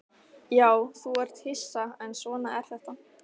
Já, þú ert hissa, en svona er þetta.